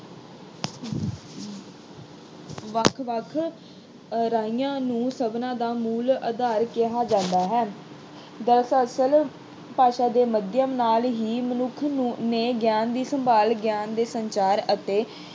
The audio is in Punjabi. ਵੱਖ-ਵੱਖ ਨੂੰ ਸਭਨਾਂ ਦਾ ਮੂਲ ਆਧਾਰ ਕਿਹਾ ਜਾਂਦਾ ਹੈ। ਦਰਅਸਲ ਭਾਸ਼ਾ ਦੇ ਮਾਧਿਅਮ ਨਾਲ ਹੀ ਮਨੁੱਖ ਨੂੰ ਨੇ ਗਿਆਨ ਦੀ ਸੰਭਾਲ, ਗਿਆਨ ਦੇ ਸੰਚਾਰ ਅਤੇ